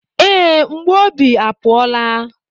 Ee, mgbu obi apụọla.